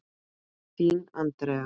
Þín, Andrea.